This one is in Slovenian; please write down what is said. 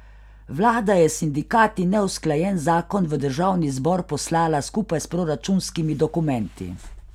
Vlada je s sindikati neusklajen zakon v državni zbor poslala skupaj s proračunskimi dokumenti.